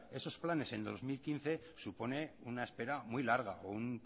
esos planes en dos mil quince supone una espera muy larga o un